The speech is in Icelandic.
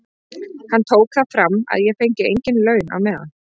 Hann tók það fram að ég fengi engin laun á meðan.